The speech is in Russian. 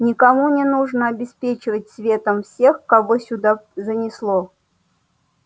никому не нужно обеспечивать светом всех кого сюда занесло